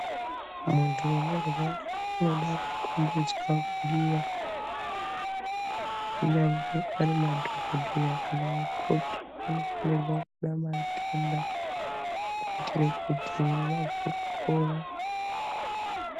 Muntu unorwara unoda kukhombidzwa kudiwa, kunyangwe ari madhogodheya kana vakoti vanofanirwa kude vatenda kuitira kuti vazwe kupora.